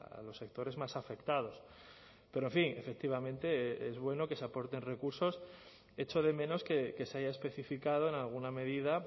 a los sectores más afectados pero en fin efectivamente es bueno que se aporten recursos echo de menos que se haya especificado en alguna medida